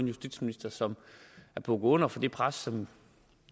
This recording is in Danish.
justitsminister som er bukket under for det pres som